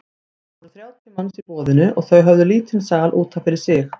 Það voru þrjátíu manns í boðinu og þau höfðu lítinn sal út af fyrir sig.